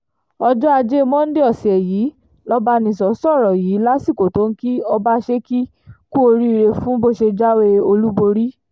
ọjọ́ ajé monde ọ̀sẹ̀ yìí lọ́bánisọ sọ̀rọ̀ yìí lásìkò tó ń kí ọbaṣẹ́kì kú oríire fún bó ṣe jáwé olúborí